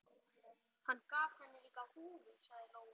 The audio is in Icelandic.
Hann gaf henni líka húfu, sagði Lóa-Lóa.